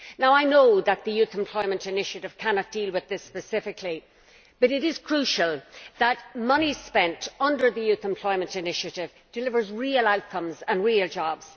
I know that the youth employment initiative cannot deal with this specifically, but it is crucial that money spent under the Youth Employment Initiative delivers real outcomes and real jobs.